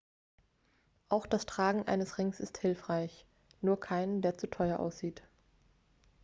auch das tragen eines rings ist hilfreich nur keinen der zu teuer aussieht